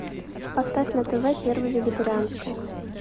поставь на тв первый вегетарианский